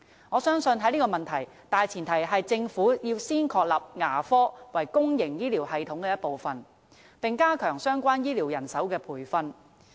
我相信在這個問題上，大前提是政府要先確立牙科為公營醫療系統的一部分，並加強相關醫療人手的培訓。